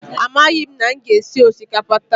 Amaghị m ma m ga-esi osikapa taa.